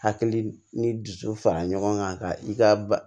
Hakili ni dusu fara ɲɔgɔn kan ka i ka ba